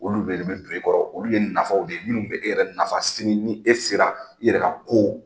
Olu bɛ de don e kɔrɔ , olu ye nafaw de ye minnu bɛ e yɛrɛ nafa sini ni e sera yɛrɛ na ka.